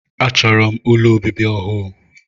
A chọrọ m ụlọ obibi ọhụụ.